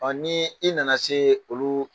Ni i nana se olu